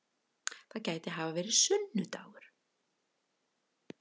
Það gæti hafa verið sunnu-dagur.